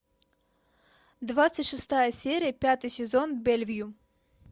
двадцать шестая серия пятый сезон бельвю